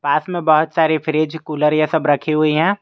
पास में बहोत सारी फ्रिज कूलर ये सब रखी हुई है।